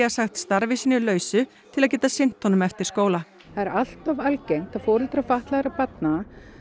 sagt starfi sínu lausu til að geta sinnt honum eftir skóla það er allt of algengt að foreldrar fatlaðra barna